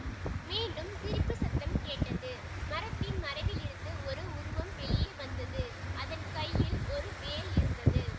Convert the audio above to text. மீண்டும் சிரிப்பு சத்தம் கேட்டது மரத்தின் மறைவிலிருந்து ஒரு உருவம் வெளியே வந்தது அதன் கையில் ஒரு வேல் இருந்தது